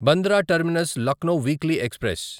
Bandra terminus Lucknow weekly express